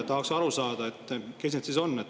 Tahaks aru saada, kes need siis on.